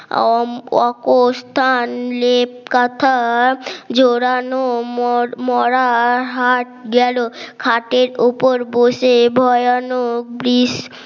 আম অকোষথান লেপ কাঁথা জোড়ানো মোর মরা হাত গেল খাটের উপর বসে ভয়ানক বৃষ